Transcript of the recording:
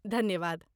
धन्यवाद।